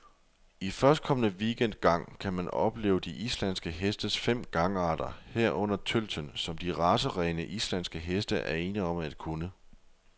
I førstkommende weekend gang kan man opleve de islandske hestes fem gangarter, herunder tølten, som de racerene, islandske heste er ene om at kunne.